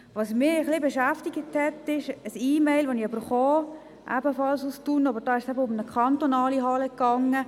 Was mich beschäftigt hat, ist ein E-Mail, ebenfalls aus Thun, in der es um eine kantonale Halle ging.